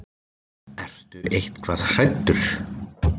Ertu eitthvað hræddur?